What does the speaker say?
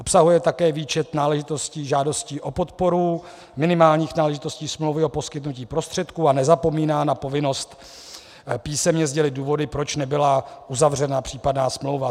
Obsahuje také výčet náležitostí žádostí o podporu, minimálních náležitostí smlouvy o poskytnutí prostředků a nezapomíná na povinnost písemně sdělit důvody, proč nebyla uzavřena případná smlouva.